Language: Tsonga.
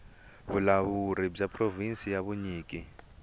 vulawuri bya provhinsi bya vunyiki